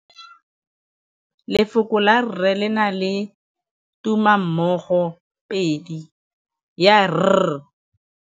Lefoko la rre, le na le tumammogôpedi ya, r.